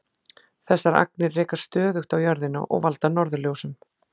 Þessar agnir rekast stöðugt á jörðina og valda norðurljósum.